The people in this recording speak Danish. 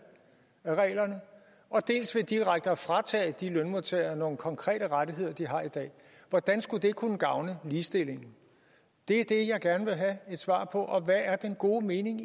af reglerne dels ved direkte at fratage lønmodtagerne nogle konkrete rettigheder som de har i dag hvordan skulle det kunne gavne ligestillingen det er det jeg gerne vil have et svar på hvad er den gode mening